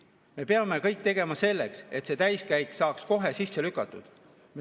Me peame kõik tegema selleks, et see täiskäik saaks kohe sisse lükatud.